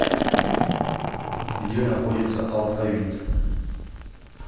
где находится алфавит